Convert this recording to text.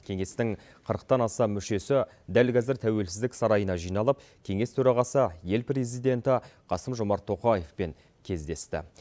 кеңестің қырықтан астам мүшесі дәл қазір тәуелсіздік сарайына жиналып кеңес төрағасы ел президенті қасым жомарт тоқаевпен кездесті